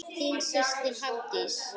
Þín systir, Hafdís.